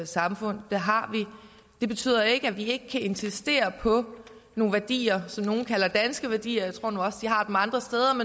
samfund det har vi det betyder ikke at vi ikke kan insistere på nogle værdier som nogle kalder danske værdier jeg tror nu også de har dem andre steder